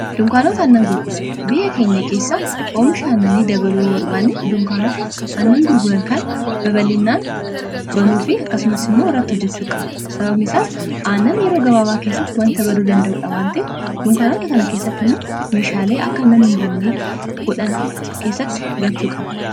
Dunkaanota annan gurguran biyya keenya keessa oomisha annanii dabaluu barbaani dunkaanota annan gurguran kana babalinaan banuu fi akkasumas immoo irratti hojjechuu qaba. sababni isaas aannan yeroo gabaabaa keessatti wanta baduu danda'uudhaa waan ta'eef dunkaanota kana keessatti immoo meeshaalee akka annam hin bannee godhan keessatti galchuu qaba.